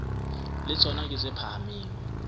le tsona ke tse phahameng